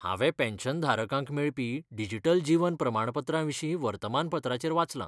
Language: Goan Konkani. हांवें पॅन्शनधारकांक मेळपी डिजिटल जीवन प्रमाणपत्राविशीं वर्तमानपत्राचेर वाचलां.